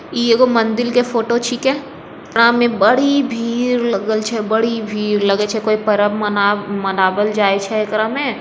ईगो मंदिर के फोटो छीके एमे बड़ी भीड़ लागल छै बड़ी भीड़ लगल छै लगे छै कोई पर्व मना मनावल जाइल छै ऐकरा में।